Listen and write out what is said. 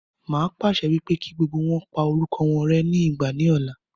Màá pàṣẹ wípé kí gbogbo wọn pa orúkọ wọn rẹ́ ní ìgbà ní ọ̀la.